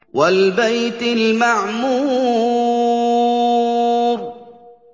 وَالْبَيْتِ الْمَعْمُورِ